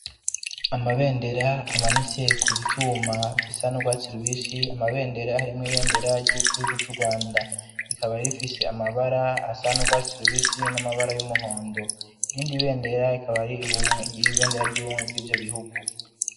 Amabendera amanitse ku vyuma bisa n'urwatsi rubisi, amabendera harimwo ibendera ry'igihugu c'Urwanda, rikaba rifise amabara asa n'urwatsi rubisi, n'amabara y'umuhondo, irindi bendera rikaba ari ibendera ry'ubumwe bw'ivyo bihugu.